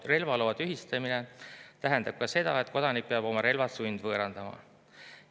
Relvaloa tühistamine tähendab ka seda, et kodanik peab oma relvad sundvõõrandama.